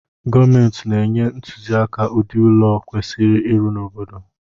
Gomenti na-enye ntuziaka udi ụlọ e kwesiri ịrụ n’obodo